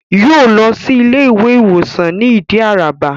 Yóò lọ sí Ilé ìwé ìwòsàn ní Ìdí Àràbà